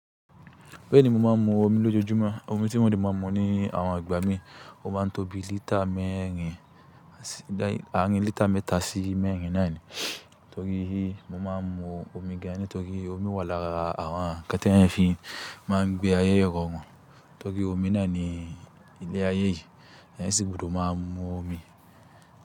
Bẹ́ẹ̀ni, mo máa ń mu omi lójoojúmọ́. Omi tí mo de máa ń mu ní àwọn ìgbà mí, ó máa ń tóbi lítà mẹ́rin, àárín lítà mẹ́ta sí mẹ́rin náà ni. Torí i mo máa ń mu omi gan ni torí omi wà lára àwọn ńkan ti eyan fi máa ń gbé ayé irọrùn. Torí omi nani ilé ayé yìí, ẹyan sì gbọdọ̀ máa mu omi.